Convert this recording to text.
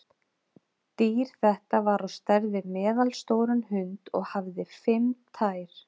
Dýr þetta var á stærð við meðalstóran hund og hafði fimm tær.